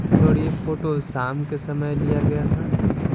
और यह फोटो शाम के समय लिया गया था।